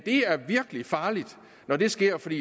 det er virkelig farligt når det sker for de